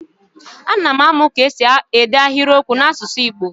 A na m amụ ka esi ede ahịrịokwu n'asụsụ Igbo.